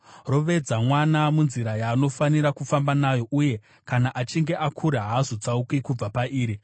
Rovedza mwana munzira yaanofanira kufamba nayo, uye kana achinge akura haazotsauki kubva pairi.